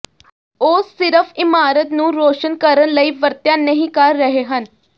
ਉਹ ਸਿਰਫ ਇਮਾਰਤ ਨੂੰ ਰੌਸ਼ਨ ਕਰਨ ਲਈ ਵਰਤਿਆ ਨਹੀ ਕਰ ਰਹੇ ਹਨ